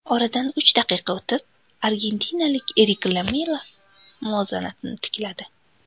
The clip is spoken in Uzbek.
Oradan uch daqiqa o‘tib argentinalik Erik Lamela muvozanatni tikladi.